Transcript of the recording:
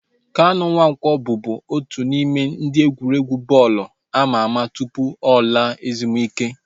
Kanu Nwanko bubu otu n'ime ndị egwuregwu bọọlụ ama ama tụpụ ọ laa ezumike